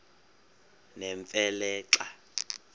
nemfe le xa